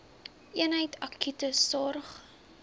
eenheid akute sorg